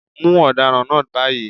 Mú ọ̀daràn náà báyìí.